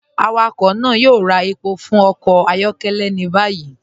Awakọ náà yóò rà èpọ̀ fún ọkọ ayọkẹlẹ ni báyì.